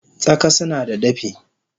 Tsaka sunada dafi